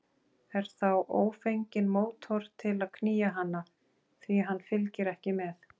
Er þá ófenginn mótor til að knýja hana, því hann fylgir ekki með.